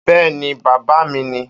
Bẹ́ẹ́ni bàbá mi ni.